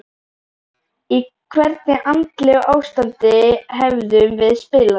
Í hvernig andlegu ástandi hefðum við spilað?